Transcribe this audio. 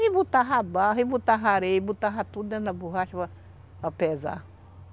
E botava barra, e botava areia, e botava tudo dentro da borracha para para pesar.